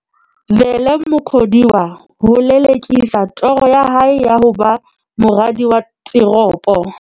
Vele Mukhodiwa ho lele-kisa toro ya hae ya ho ba moradi wa teropo.